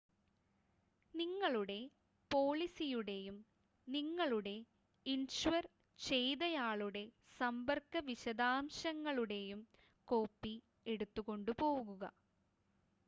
നിങ്ങളുടെ പോളിസിയുടെയും നിങ്ങളെ ഇൻഷ്വർ ചെയ്തയാളുടെ സമ്പർക്ക വിശദാംശങ്ങളുടെയും കോപ്പി എടുത്ത് കൊണ്ടുപോകുക